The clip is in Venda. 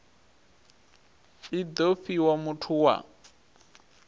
i do fhiwa muthu wa